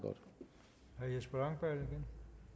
godt